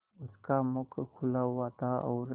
उसका मुख खुला हुआ था और